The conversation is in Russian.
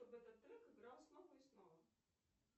чтобы этот трек играл снова и снова